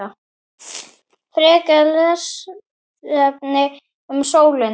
Frekara lesefni um sólina